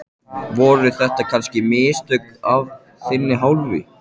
Voru þetta kannski mistök af þinni hálfu?